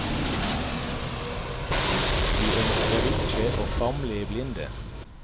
Vi ønsker ikke å famle i blinde.